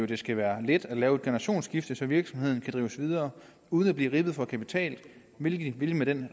det skal være let at lave et generationsskifte så virksomheden kan drives videre uden at blive ribbet for kapital hvilket den